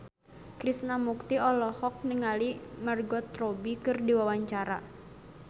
Krishna Mukti olohok ningali Margot Robbie keur diwawancara